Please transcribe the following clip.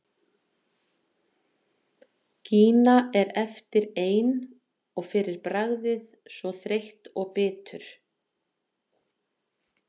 Gína er eftir ein og fyrir bragðið svo þreytt og bitur.